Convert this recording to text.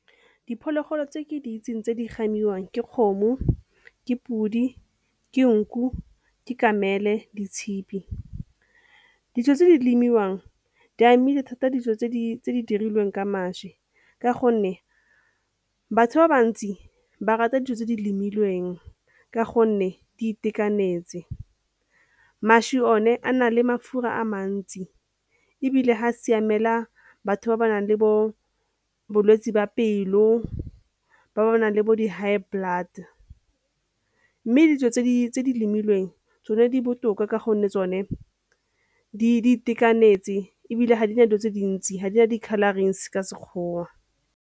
Diphologolo tse ke di itseng tse di gamiwang ke kgomo, ke podi, ke nku, ke kamele, ke tshipi. Dijo tse di lemiwang di amile thata dijo tse di dirilweng ka mašwi ka gonne batho ba bantsi ba rata dijo tse di lemileng ka gonne di itekanetse. Mašwi one a na le mafura a mantsi ebile ha a siamela batho ba ba nang le bo bolwetse ba pelo, ba ba nang le bo di-high blood mme dijo tse di tse di lemileng tsone di botoka ka gonne tsone di itekanetse ebile ga di na dilo tse dintsi, ha di na di-colourings ka Sekgowa.